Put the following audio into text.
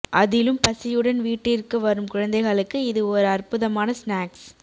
அதிலும் பசியுடன் வீட்டிற்கு வரும் குழந்தைகளுக்கு இது ஒரு அற்புதமான ஸ்நாக்ஸ் ப